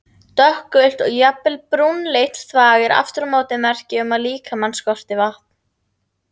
Dökkgult og jafnvel brúnleitt þvag er aftur á móti merki um að líkamann skorti vatn.